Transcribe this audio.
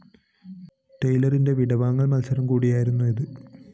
ടെയ്‌ലറിന്റെ വിടവാങ്ങല്‍ മത്സരം കൂടിയായിരുന്നു ഇത്